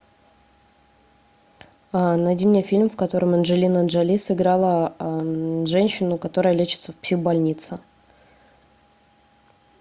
найди мне фильм в котором анджелина джоли сыграла женщину которая лечится в психбольнице